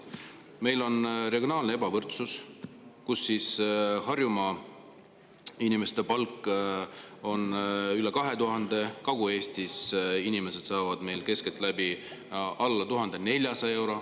Meil on regionaalne ebavõrdsus: Harjumaa inimeste palk on üle 2000 euro, Kagu-Eestis saavad inimesed keskeltläbi alla 1400 euro.